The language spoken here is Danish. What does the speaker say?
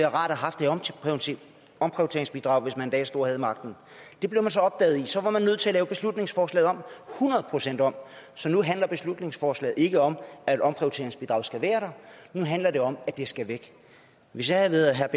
omprioriteringsbidrag hvis man en dag stod og havde magten det blev så opdaget og så var man nødt til at lave beslutningsforslaget hundrede procent om så nu handler beslutningsforslaget ikke om at omprioriteringsbidraget skal være der nu handler det om at det skal væk hvis jeg havde været herre